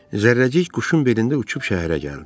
Zərrəcik quşun belində uçub şəhərə gəldi.